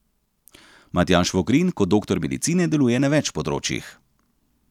Matjaž Vogrin kot doktor medicine deluje na več področjih.